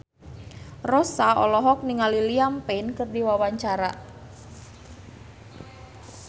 Rossa olohok ningali Liam Payne keur diwawancara